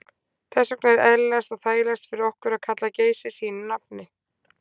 Þess vegna er eðlilegast og þægilegast fyrir okkur að kalla Geysi sínu nafni.